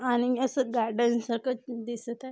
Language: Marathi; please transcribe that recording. आणि हे सुद्धा डेन सारख दिसत आहे.